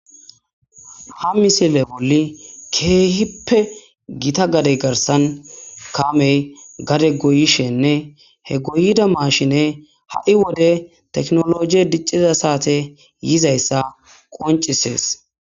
Ha misile bolli keehippe gita gadey garsan kaamey gade goyishenne he goyida maashine ha'i wode teknologie dicciza saate yizayssa qoncisees.